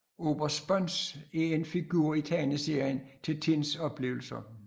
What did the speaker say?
Oberst Sponz er en figur i tegneserien Tintins Oplevelser